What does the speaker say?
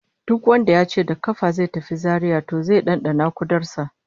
Duk wanda yace da kafa zai tafi Zaria to zai dandana kudar sa